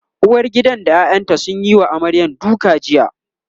uwargidan da ƴaƴanta sun Yi wa amaryar duka jiya